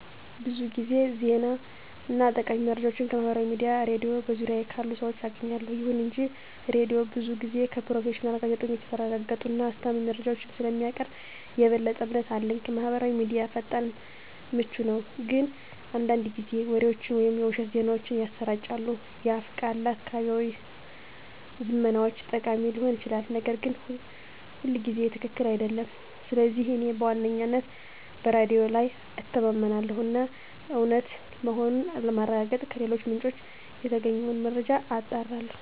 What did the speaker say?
ብዙ ጊዜ ዜና እና ጠቃሚ መረጃዎችን ከማህበራዊ ሚዲያ፣ ሬድዮ እና በዙሪያዬ ካሉ ሰዎች አገኛለሁ። ይሁን እንጂ ሬዲዮው ብዙ ጊዜ ከፕሮፌሽናል ጋዜጠኞች የተረጋገጡ እና አስተማማኝ መረጃዎችን ስለሚያቀርብ የበለጠ እምነት አለኝ። ማህበራዊ ሚዲያ ፈጣን እና ምቹ ነው፣ ግን አንዳንድ ጊዜ ወሬዎችን ወይም የውሸት ዜናዎችን ያሰራጫል። የአፍ ቃል ለአካባቢያዊ ዝመናዎች ጠቃሚ ሊሆን ይችላል, ነገር ግን ሁልጊዜ ትክክል አይደለም. ስለዚህ እኔ በዋነኝነት በሬዲዮ ላይ እተማመናለሁ እና እውነት መሆኑን ለማረጋገጥ ከሌሎች ምንጮች የተገኘውን መረጃ አጣራለሁ።